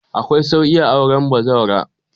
Akwai sauƙi auren bazawara